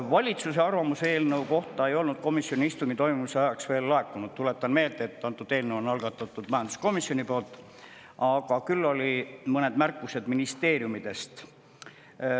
Valitsuse arvamus eelnõu kohta ei olnud komisjoni istungi toimumise ajaks veel laekunud – tuletan meelde, et antud eelnõu on algatanud majanduskomisjon –, küll aga olid mõned märkused ministeeriumidest.